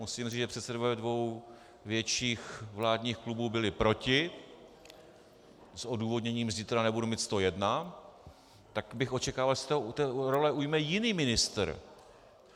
Musím říct, že předsedové dvou větších vládních klubů byli proti s odůvodněním "zítra nebudu mít 101", tak bych očekával, že se té role ujme jiný ministr.